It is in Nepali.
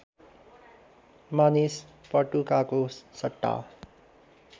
मानिस पटुकाको सट्टा